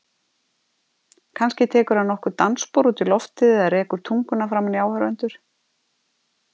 Kannski tekur hann nokkur dansspor út í loftið eða rekur tunguna framan í áhorfendur.